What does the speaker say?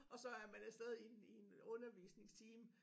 Og så er man afsted i en i en undervisningstime